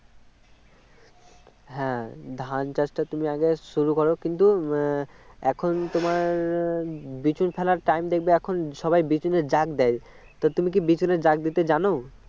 হ্যাঁ ধান চাষটা তুমি আগে শুরু করো কিন্তু এখন তোমার বিচুন ফেলার time দেখবে এখন সবাই বিচুনের জাগ দেয় তা তুমি কি বিচুনের জাগ দিতে জানো